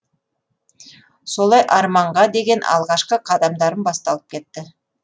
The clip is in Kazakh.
солай арманға деген алғашқы қадамдарым басталып кетті